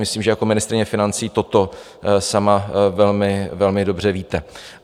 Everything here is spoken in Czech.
Myslím, že jako ministryně financí toto sama velmi dobře víte.